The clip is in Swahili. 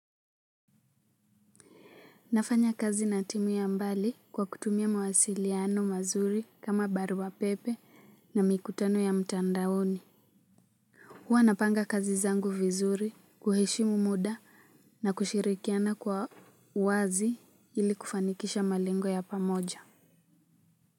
Nafanya kazi na timu ya mbali kwa kutumia mawasiliano mazuri kama barua pepe na mikutano ya mtandaoni huwa napanga kazi zangu vizuri kuheshimu muda na kushirikiana kwa wazi ili kufanikisha malengo ya pamoja.